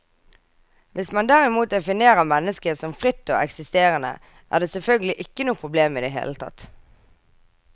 Hvis man derimot definerer mennesket som fritt og eksisterende, er det selvfølgelig ikke noe problem i det hele tatt.